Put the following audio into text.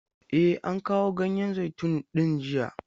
E, an kawo ganyen zaitun din jiya.